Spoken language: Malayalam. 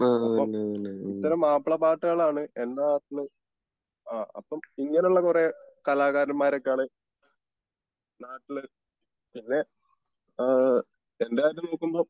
അപ്പോം ഇത്തരം മാപ്പിള പാട്ടുകൾ ആണ് എൻ്റെ നാട്ടിൽ. അപ്പോം ഇങ്ങനെ ഉള്ള കുറെ കലാകാരന്മാർക്കാണ് നാട്ടിൽ ആഹ് എൻ്റെ കാര്യം നോക്കുമ്പോ